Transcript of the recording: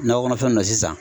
Nakɔ kɔnɔfɛnw na sisan